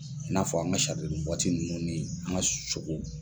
I n'a fɔ an ka nunnu ni an ka sogo.